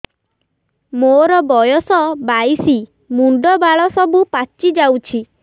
ମୋର ବୟସ ବାଇଶି ମୁଣ୍ଡ ବାଳ ସବୁ ପାଛି ଯାଉଛି